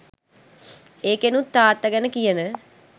ඒකෙනුත් තාත්ත ගැන කියන